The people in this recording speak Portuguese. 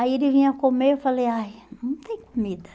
Aí ele vinha comer, eu falei, ai, não tem comida.